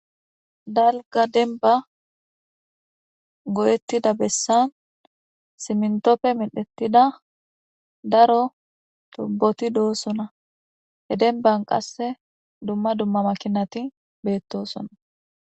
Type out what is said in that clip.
dalga denba go7ettida bessan simntoppe medhettida daro tubboti doosona he denban qasse dumma dumma makinati beettosona